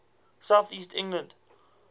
south east england